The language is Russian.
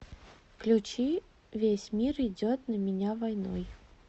включи весь мир идет на меня войной